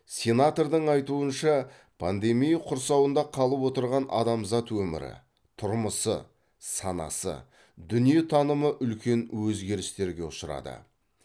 сенатордың айтуынша пандемия құрсауында қалып отырған адамзат өмірі тұрмысы санасы дүниетанымы үлкен өзгерістерге ұшырады